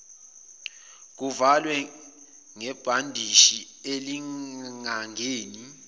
kuvalwe ngebhandishi elingangeni